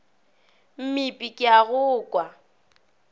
mmipe ke a go kwa